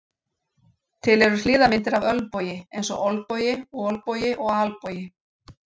Til eru hliðarmyndir af ölnbogi eins og olnbogi, olbogi og albogi.